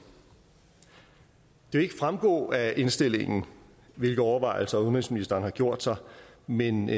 det vil ikke fremgå af indstillingen hvilke overvejelser udenrigsministeren har gjort sig men